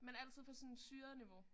Men altid på sådan et syret niveau